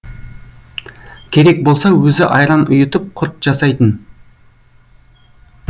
керек болса өзі айран ұйытып құрт жасайтын